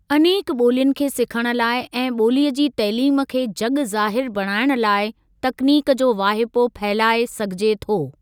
अनेक ॿोलियुनि खे सिखण लाइ ऐं ॿोलीअ जी तइलीम खे जग ज़ाहिरु बणाइण लाइ तकनीक जो वाहिपो फहिलाए सघिजे थो।